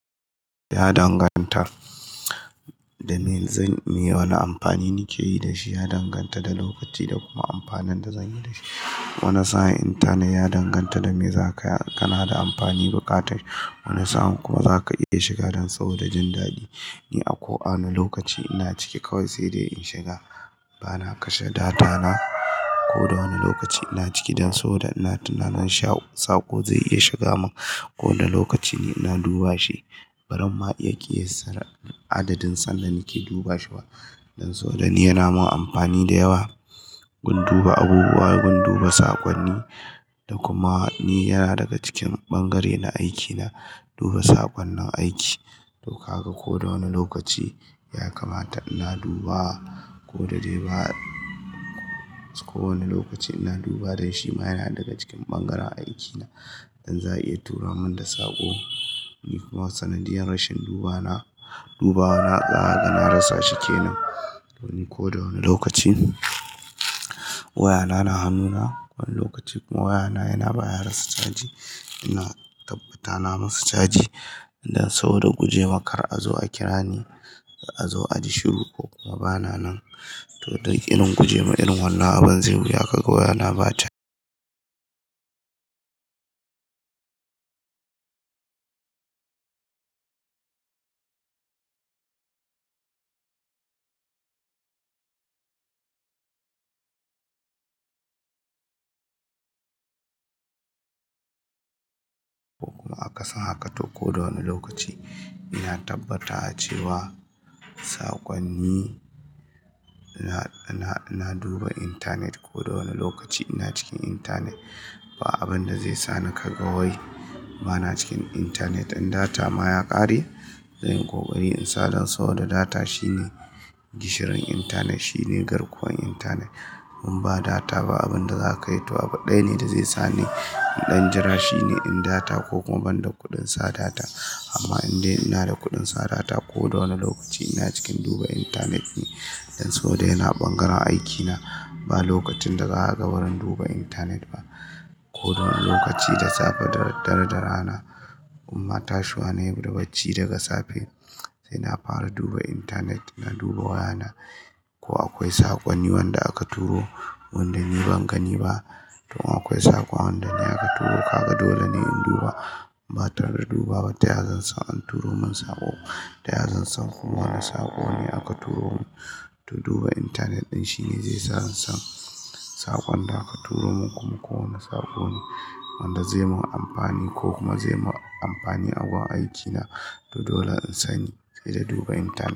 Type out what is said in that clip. Ya danganta da me zan iya wani amfani nike yi da shi, ya danganta da lokaci da kuma amfanin da zanyi da shi. Wani sa'in intanet ya danganta da me za ka kana da amfani buƙatar. Wani sa'in kuma za ka iya shiga dan saboda jin daɗi. Ni a ko a wani lokaci ina ciki kawai sai dai in shiga. Bana kashe data na ko da wani lokaci ina ciki dan saboda ina tunanin sha sako zai iya shiga mun. Ko wane lokaci ne ina duba shi, baran ma iya ƙiyassar adadin sanda nake duba shi ba. Dan saboda ni yana mun amfani da yawa, gun duba abubuwa, gun duba sakonni. Da kuma ni yana daga cikin bangare na aikina duba saƙonnin aiki. To kaga ko da wane lokaci ya kamata ina duba, ko da dai ba, ko wani lokaci ina duba dan shi ma yana daga cikin bangaren aiki na. Dan za a iya tura mun da saƙo. Ni kuma sanadiyar rashin dubana, dubawa na kaga na rasa shi kenan. To ni ko da wane lokaci waya na na hannuna, wani lokaci kuma waya na yana baya rasa caji. Ina tabbata na masa caji dan saboda gujems kar a zo a kira ni, a zo a ji shiru ko kuma ba na nan. To dalilin guje ma irin wannan abun zai wuya kaga waya na ba caji. Ko kuma akasin haka to ko da wane lokaci ina tabbata cewa saƙonni, ina, ina, ina duba intanet ko da wani lokaci ina cikin intanet. Ba abin da zai sa ni ka ga wai bana cikin intanet. In data ma ya ƙare, zanyi ƙoƙari in sa dan saboda data shine gishirin intanet, shine garkuwan intanet. In ba data ba abun da za ka yi to abu ɗaya ne da zai sa ni in ɗan jira, shine in data ko kuma ban da kuɗin sa data. Amma indai ina da kuɗin sa data ko da wane lokaci ina cikin duba intanet ne. Dan saboda yana bangaren aiki na, ba lokacin da zakagw bazan duba intanet ba. Ko da wane lokaci da safe da daraddare da rana, imba tashuwa nayi bacci daga safe sai na fara duba intanet. Na duba waya na, ko akwai sakonni wanda aka turo, wanda ni ban gani ba. To akwai saƙo wanda in aka turo, kaga dole ne in duba. Ba tare da dubawa ba taya zan san an turo mun saƙo. Ta yazan san kuma wane saƙo ne aka turo mun. To duba intanet ɗin shine zai sa in san saƙon da aka turo mun. Kuma ko wane saƙo ne wanda zai mun amfani ko kuma zai mun amfani a gun aikina. To dole in sani, sai da duba intanet.